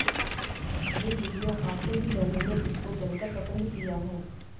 ये वीडियो आते ही लोगों ने इसको जमकर पसंद किया है